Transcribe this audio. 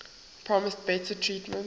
promised better treatment